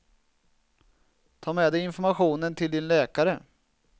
Ta med dig informationen till din läkare.